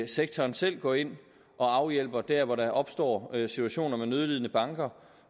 sektoren selv går ind og afhjælper dér hvor der opstår situationer med nødlidende banker